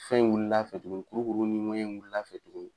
Fɛn in wulil'a fɛ tuguni kurukuru ni ŋɛɲɛ wulil'a fɛ tuguni